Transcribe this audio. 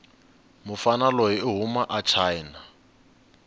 mufana loyi ihhuma achina